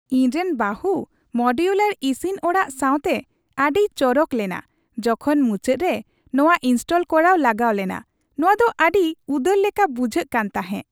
ᱤᱧ ᱨᱮᱱ ᱵᱟᱦᱩ ᱢᱚᱰᱩᱞᱟᱨ ᱤᱥᱤᱱ ᱚᱲᱟᱜ ᱥᱟᱶᱛᱮ ᱟᱹᱰᱤᱭ ᱪᱚᱨᱚᱠ ᱞᱮᱱᱟ ᱡᱚᱠᱷᱚᱱ ᱢᱩᱪᱟᱹᱫ ᱨᱮ ᱱᱚᱣᱟ ᱤᱱᱥᱴᱚᱞ ᱠᱚᱨᱟᱣ ᱞᱟᱜᱟᱣ ᱞᱮᱱᱟ ᱾ ᱱᱚᱣᱟ ᱫᱚ ᱟᱰᱤ ᱩᱫᱟᱹᱨ ᱞᱮᱠᱟ ᱵᱩᱡᱷᱟᱹᱜ ᱠᱟᱱ ᱛᱟᱦᱮᱸ ᱾